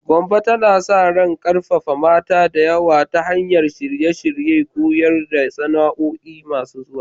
Gombe tana sa ran karfafawa mata da yawa ta hanyar shirye-shiryen koyar da sana'o'i masu zuwa.